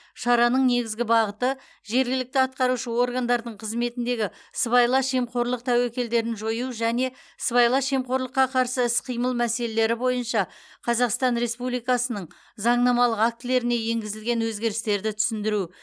шараның негізгі бағыты жергілікті атқарушы органдардың қызметіндегі сыбайлас жемқорлық тәуекелдерін жою және сыбайлас жемқорлыққа қарсы іс қимыл мәселелері бойынша қазақстан республикасының заңнамалық актілеріне енгізілген өзгерістерді түсіндіру